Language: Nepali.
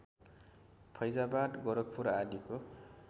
फैजाबाद गोरखपुर आदिको